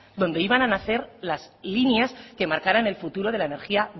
donde iban a nacer las líneas que marcaran el futuro de la energía